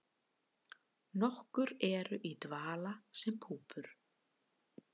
Nokkur eru í dvala sem púpur.